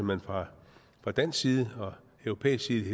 man fra dansk side og fra europæisk side i